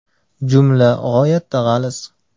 Jumla g‘oyatda g‘aliz.